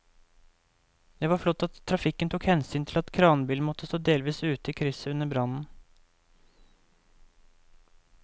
Det var flott at trafikken tok hensyn til at kranbilen måtte stå delvis ute i krysset under brannen.